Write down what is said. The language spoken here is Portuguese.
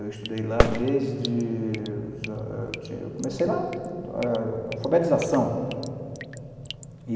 Eu estudei lá desde... eu comecei lá... alfabetização. Hurum